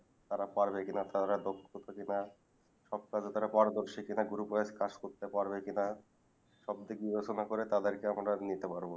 তারা পারবে কি না তারা দক্ষ আছে কিনা সব কাজে পারদর্শী কি না group এর কাজ করতে পাবে কি না সব দেখা শোনে করে তাদেরকে আমরা নিতে পারবো